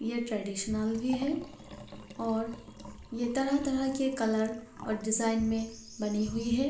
ये ट्रेडिशनल भी है और ये तरह-तरह के कलर और डिज़ाइन में बनी हुई हैं।